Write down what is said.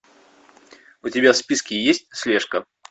у тебя в списке есть слежка